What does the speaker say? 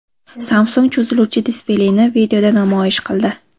Samsung cho‘ziluvchi displeyni videoda namoyish qildi.